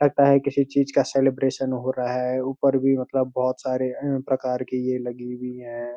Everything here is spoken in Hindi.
लगता है किसी चीज का सेलब्रैशन हो रहा है ऊपर भी मतलब बहोत सारे अ प्रकार की ये लगी हुई हैं।